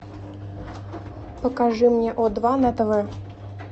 покажи мне о два на тв